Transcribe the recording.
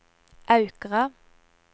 Aukra